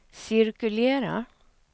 cirkulera